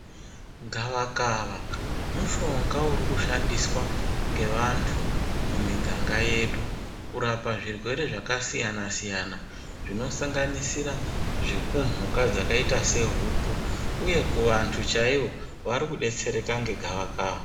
Gavakava mushonga uri kushandiswa ngevantu mumiganga yedu. Kurapa zvirwere zvakasiyana-siyana zvinosanganisira zvekumhuka dzakaita sehuku, uye kuvantu chaivo vari kubetsereka ngegavakava.